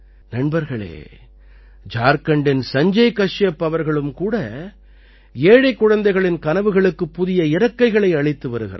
நண்பர்களே ஜார்க்கண்டின் சஞ்ஜய கஷ்யப் அவர்களும் கூட ஏழைக் குழந்தைகளின் கனவுக்குக்குப் புதிய இறக்கைகளை அளித்து வருகிறார்